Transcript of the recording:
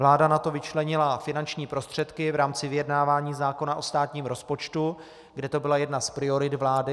Vláda na to vyčlenila finanční prostředky v rámci vyjednávání zákona o státním rozpočtu, kde to byla jedna z priorit vlády.